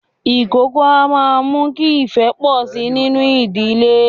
Ìkókó a máa mú kí ifẹ́ pọ sí nínú ìdílé